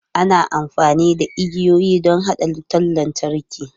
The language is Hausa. Ana amfani da igiyoyi don haɗa wutar lantarki.